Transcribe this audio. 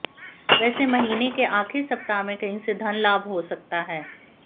वेसे महीने के आखिर सप्ताह में कहीं से धन लाभ हो सकता है